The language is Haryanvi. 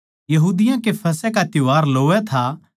यहूदियाँ कै फसह का त्यौहार लोवै था